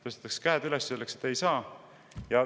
Tõstetakse käed üles ja öeldakse, et ei saa.